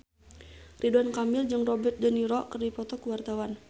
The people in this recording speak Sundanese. Ridwan Kamil jeung Robert de Niro keur dipoto ku wartawan